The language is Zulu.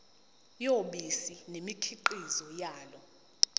yobisi nemikhiqizo yalo